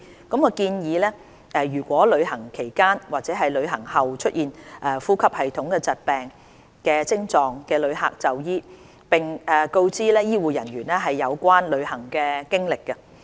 世衞建議，旅行期間或旅行後出現呼吸系統疾病症狀的旅客就醫，並告知醫護人員有關旅行經歷。